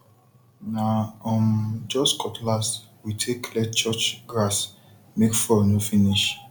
na um just cutlass we take clear church grassmake fuel no finish